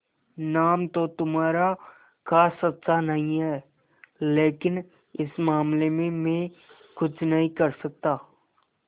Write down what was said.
नाम तो तुम्हारा खास अच्छा नहीं है लेकिन इस मामले में मैं कुछ नहीं कर सकता